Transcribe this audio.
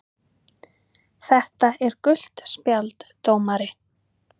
. þetta er gult spjald dómari!!!